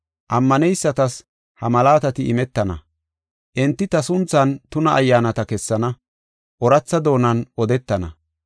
Ammaneysatas ha malaatati imetana. Enti ta sunthan tuna ayyaanata kessana, ooratha doonan odetana.